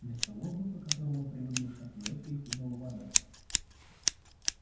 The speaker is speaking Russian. вместо воздуха которым он привык дышать в лёгких хлынула вода